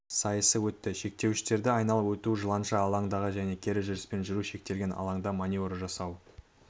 сайысы өтті шектеуіштерді айналып өтумен жыланша алдыңғы және кері жүріспен жүру шектелген алаңда маневр жасау